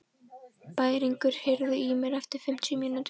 Bæringur, heyrðu í mér eftir fimmtíu mínútur.